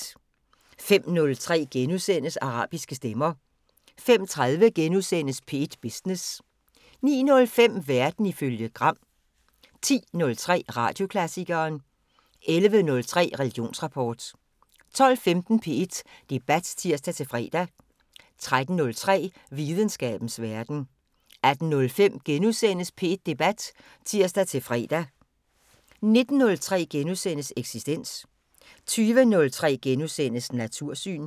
05:03: Arabiske stemmer * 05:30: P1 Business * 09:05: Verden ifølge Gram 10:03: Radioklassikeren 11:03: Religionsrapport 12:15: P1 Debat (tir-fre) 13:03: Videnskabens Verden 18:05: P1 Debat *(tir-fre) 19:03: Eksistens * 20:03: Natursyn *